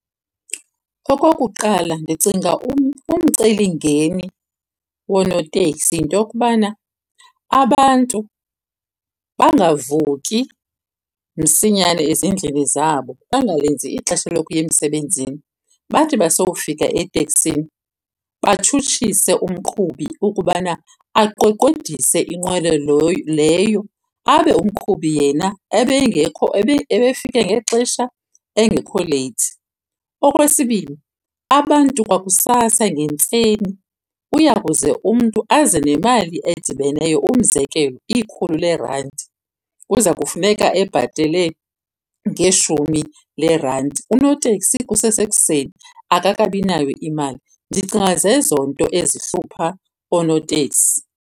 Okokuqala, ndicinga umcelimngeni wonooteksi yinto yokubana abantu bangavuki msinyane ezindlini zabo, bangalenzi ixesha lokuya emsebenzini. Bathi basowufika eteksini batshutshise umqhubi ukubana aqweqwedise inqwelo leyo, abe umqhubi yena ebengekho , ebefike ngexesha engekho leyithi. Okwesibini, abantu kwakusasa ngentseni uyakuze umntu aze nemali edibeneyo. Umzekelo, ikhulu leerandi kuza kufuneka ebhatele ngeshumi leerandi, unoteksi kusesekuseni akakabi nayo imali. Ndicinga zezo nto ezihlupha oonotekisi.